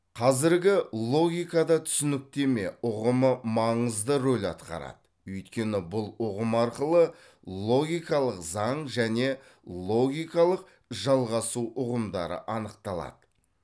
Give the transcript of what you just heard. қазіргі логикада түсініктеме ұғымы маңызды рөл атқарады өйткені бұл ұғым арқылы логикалық заң және логикалық жалғасу ұғымдары анықталады